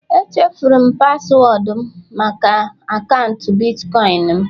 Echefuru m paswọọdụ maka akaụntụ Bitcoin m